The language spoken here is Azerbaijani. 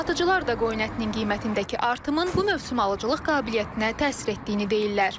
Satıcılar da qoyun ətinin qiymətindəki artımın bu mövsüm alıcılıq qabiliyyətinə təsir etdiyini deyirlər.